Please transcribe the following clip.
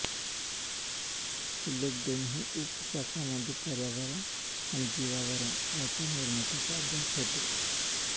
उल्लेख दोन्ही उपशाखांमध्ये पर्यावरण आणि जीवावरण यांच्या निर्मितीचा अभ्यास होतो